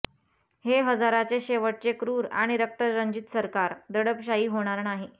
हे हजाराचे शेवटचे क्रूर आणि रक्तरंजित सरकार दडपशाही होणार नाही